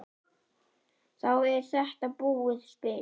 Þá er þetta búið spil.